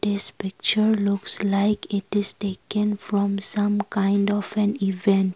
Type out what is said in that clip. this picture looks like it is taken from some kind of an event.